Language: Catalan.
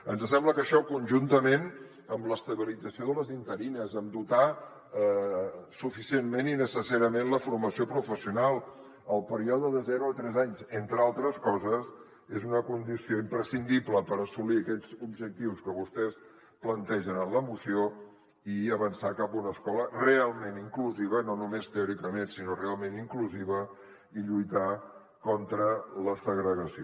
ens sembla que això conjuntament amb l’estabilització de les interines amb dotar suficientment i necessàriament la formació professional el període de zero a tres anys entre altres coses és una condició imprescindible per assolir aquests objectius que vostès plantegen en la moció i avançar cap a una escola realment ment inclusiva i lluitar contra la segregació